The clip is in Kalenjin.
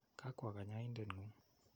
Ga kwo kanyoindet ng'ung'.